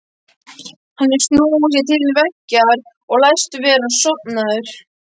Hann hefur snúið sér til veggjar og læst vera sofnaður.